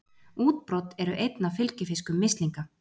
Útbrot eru einn af fylgifiskum mislinga.